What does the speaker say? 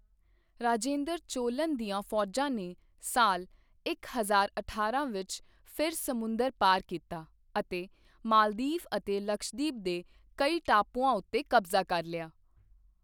ਰਾਜੇਂਦਰ ਚੋਲਨ ਦੀਆਂ ਫੌਜਾਂ ਨੇ ਸਾਲ ਇੱਕ ਹਜ਼ਾਰ ਅਠਾਰਾਂ ਵਿੱਚ ਫਿਰ ਸਮੁੰਦਰ ਪਾਰ ਕੀਤਾ ਅਤੇ ਮਾਲਦੀਵ ਅਤੇ ਲਕਸ਼ਦੀਪ ਦੇ ਕਈ ਟਾਪੂਆਂ ਉੱਤੇ ਕਬਜ਼ਾ ਕਰ ਲਿਆ।